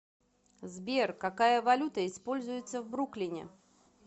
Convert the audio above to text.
сбер какая валюта используется в бруклине